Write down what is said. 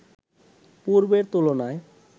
পূর্বের তুলনায়